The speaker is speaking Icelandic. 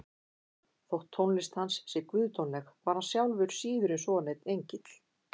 Þótt tónlist hans sé guðdómleg var hann sjálfur síður en svo neinn engill.